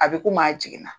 A bɛ komi a jiginna